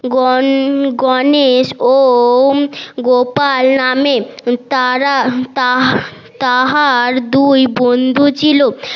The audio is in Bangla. গন গনেশ ও গোপাল নামের তারা তাহার দুই বন্ধু ছিল